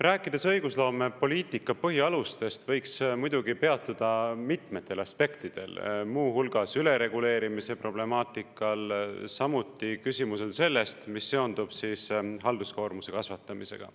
Rääkides õigusloomepoliitika põhialustest, võiks muidugi peatuda mitmetel aspektidel, muu hulgas ülereguleerimise problemaatikal, samuti küsimusel sellest, mis seondub halduskoormuse kasvatamisega.